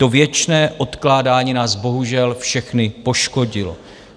To věčné odkládání nás bohužel všechny poškodilo.